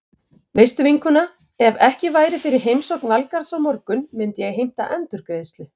Veistu vinkona, ef ekki væri fyrir heimsókn Valgarðs á morgun myndi ég heimta endurgreiðslu.